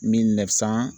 Min san